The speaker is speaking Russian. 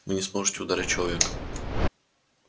вы не сможете ударить человека